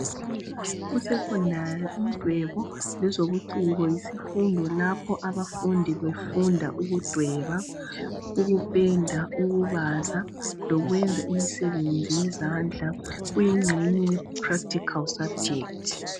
Kusecondary umdwebo lezobuciko yisifundo lapho abafundi befunda ukudweba, ukupenda, ukubaza lokwenza imisebenzi yezandla kuyingxenye ye practical subject.